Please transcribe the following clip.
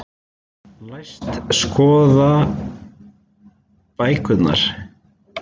Læst skoða bækurnar.